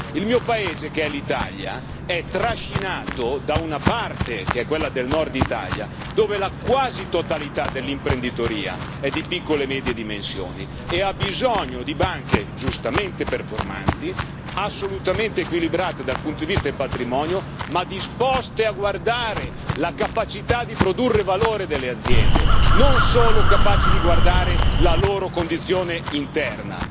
Il mio paese, che è l'Italia, è trascinato da una parte, che è quella del Nord Italia, dove la quasi totalità dell'imprenditoria è di piccole e medie dimensioni e ha bisogno di banche, giustamente performanti, assolutamente equilibrate dal punto di vista patrimoniale, ma disposte a guardare la capacità di produrre valore delle aziende, non solo capaci di guardare la loro condizione interna.